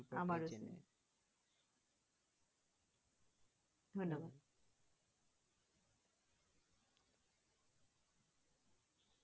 ধন্যবাদ।